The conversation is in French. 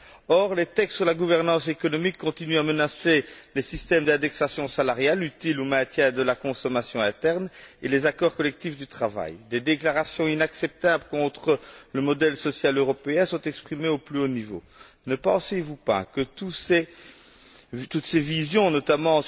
Or, les textes sur la gouvernance économique continuent à menacer les systèmes d'indexation salariale utiles au maintien de la consommation interne et les accords collectifs du travail. Des déclarations inacceptables contre le modèle social européen sont exprimées au plus haut niveau. Ne pensez vous pas que toutes ces visions, notamment